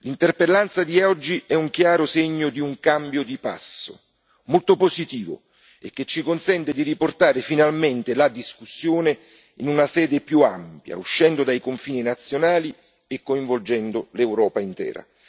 L'interpellanza di oggi è un chiaro segno di un cambio di passo, molto positivo, che ci consente di riportare finalmente la discussione in una sede più ampia, uscendo dai confini nazionali e coinvolgendo l'Europa intera.